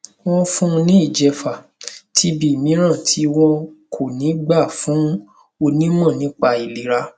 wọn fún un ní ìjẹfà tb mìíràn tí wọn kò ní gbà fún onímọ nípa ìlera